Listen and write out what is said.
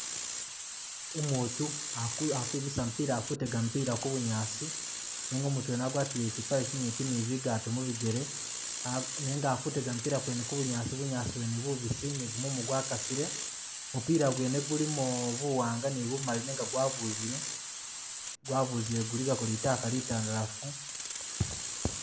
Umutu akwimisa mupila akutega mupila ku’bunyaasi nenga umutu wene agwatile kyipale kyinyipi ni bigato mubijele nenga akuzega mupila gwene ku’bunyaasi bunyaasi bwene bubisi ni gumumu gwakasile mupila gwene gulimo buwanga ni bumali nenga gwabuzile , gwabuzile guligako litaka litandalafu .